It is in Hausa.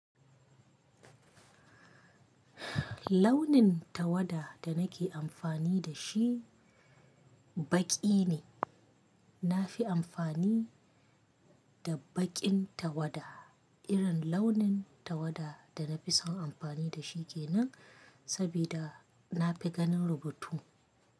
Launin tawada da nake amfani da shi baƙi ne. Na fi amfani da baƙin tawada. Irin launin tawada da na fi son amfani da shi ke nan, sabida na fi ganin rubutu.